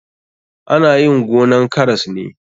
Ana yin gonan karas ne.